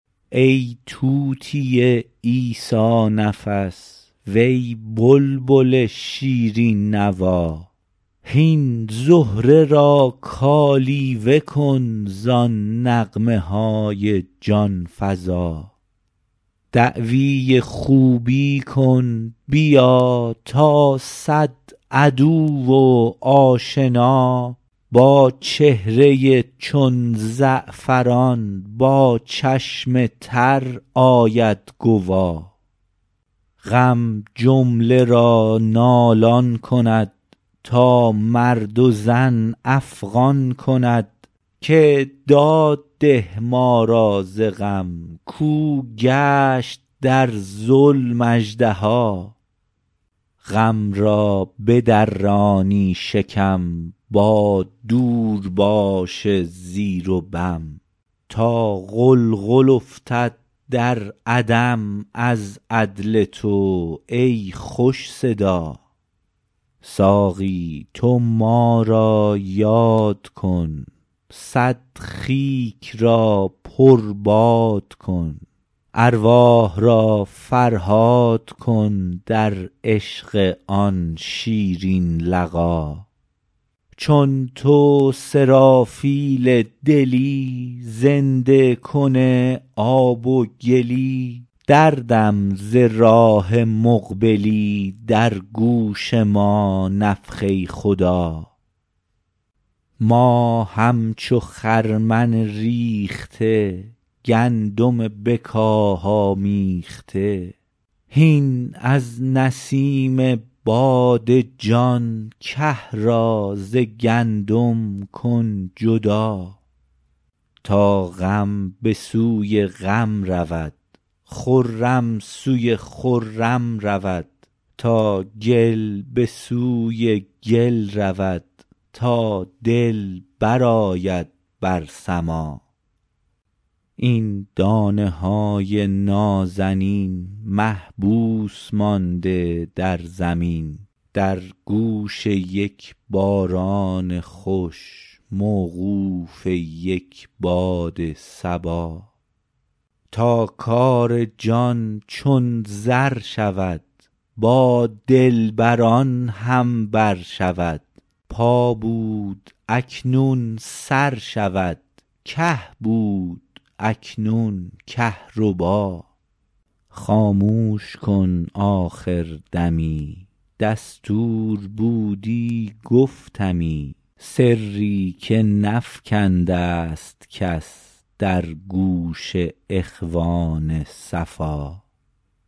ای طوطی عیسی نفس وی بلبل شیرین نوا هین زهره را کالیوه کن زان نغمه های جان فزا دعوی خوبی کن بیا تا صد عدو و آشنا با چهره ای چون زعفران با چشم تر آید گوا غم جمله را نالان کند تا مرد و زن افغان کند که داد ده ما را ز غم کاو گشت در ظلم اژدها غم را بدرانی شکم با دورباش زیر و بم تا غلغل افتد در عدم از عدل تو ای خوش صدا ساقی تو ما را یاد کن صد خیک را پرباد کن ارواح را فرهاد کن در عشق آن شیرین لقا چون تو سرافیل دلی زنده کن آب و گلی دردم ز راه مقبلی در گوش ما نفخه خدا ما همچو خرمن ریخته گندم به کاه آمیخته هین از نسیم باد جان که را ز گندم کن جدا تا غم به سوی غم رود خرم سوی خرم رود تا گل به سوی گل رود تا دل برآید بر سما این دانه های نازنین محبوس مانده در زمین در گوش یک باران خوش موقوف یک باد صبا تا کار جان چون زر شود با دلبران هم بر شود پا بود اکنون سر شود که بود اکنون کهربا خاموش کن آخر دمی دستور بودی گفتمی سری که نفکنده ست کس در گوش اخوان صفا